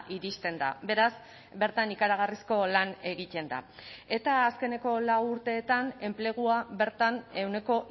iristen da beraz bertan ikaragarrizko lan egiten da eta azkeneko lau urteetan enplegua bertan ehuneko